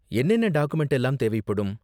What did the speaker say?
என்னென்ன டாக்குமென்ட்லாம் தேவைப்படும்?